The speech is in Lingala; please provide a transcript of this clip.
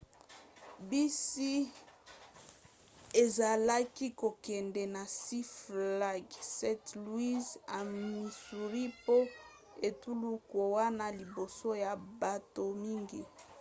bisi ezalaki kokende na six flags st. louis na missouri po etuluku wana liboso ya bato mingi